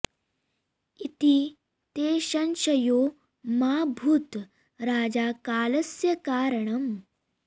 इति ते संशयो मा भूत् राजा कालस्य कारणम्